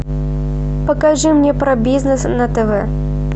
покажи мне про бизнес на тв